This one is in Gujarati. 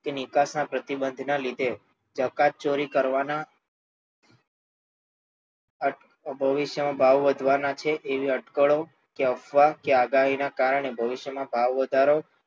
કે નિકાસના પ્રતિબંધના લીધે જકાતચોરી કરવાના ભવિષ્યમાં ભાવો વધવાના છે એવી અટકળો કે અફવા કે આગાહીના કારણે ભવિષ્યમાં ભાવવધારાનો